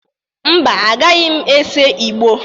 Mba, agaghị m ese ìgbó.